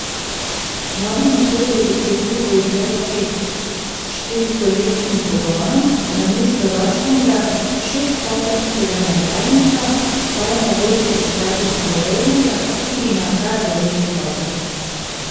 Novi motor je dosegljiv v izvedbi s štirikolesnim pogonom, namesto ročnega šeststopenjskega menjalnika pa je mogoče izbrati samodejnega, ki ima kar devet stopenj.